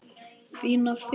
Fín af þér.